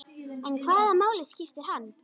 En hvaða máli skiptir hann?